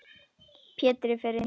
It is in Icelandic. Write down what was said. Pétur fer inn í horn.